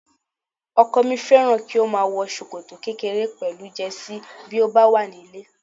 Ọkọ mi fẹ́ràn kí ó máa wọ ṣòkòtò kékèké pẹ̀lú Jẹ́sí bí ó bá wà nílé